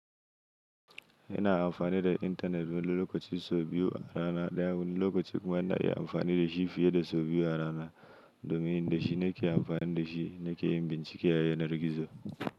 Ina amfani da intanet wani lokacin sau biyu a rana ɗaya wani lokacin kuma ina iya amfani da shi fiye da sau biyu a rana domin da shi nake amfani da shi nake yin bincike a yanar gizo.